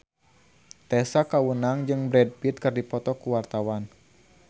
Tessa Kaunang jeung Brad Pitt keur dipoto ku wartawan